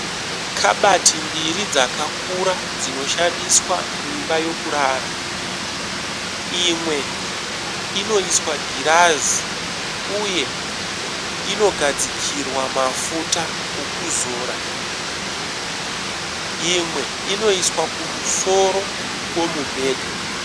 Kabati mbiri dzakakura dzinoshandiswa mumba mekurara. Imwe inoiswa girazi uye inogadzikirwa mafuta okuzora imwe inoiswa kumusoro kwemubhedha.